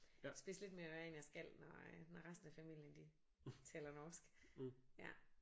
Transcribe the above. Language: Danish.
Spidse lidt mere ører end jeg skal når øh når resten af familien de taler norsk ja